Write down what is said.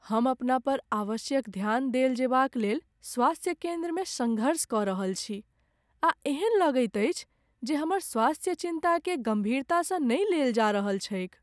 हम अपना पर आवश्यक ध्यान देल जेबाक लेल स्वास्थ्य केन्द्रमे सङ्घर्ष कऽ रहल छी आ एहन लगैत अछि जे हमर स्वास्थ्य चिन्ताकेँ गम्भीरतासँ नहि लेल जा रहल छैक।